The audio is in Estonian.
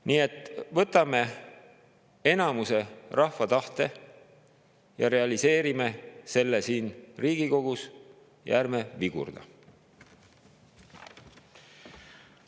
Nii et võtame ja realiseerime rahva enamuse tahte siin Riigikogus ja ärme vigurdame!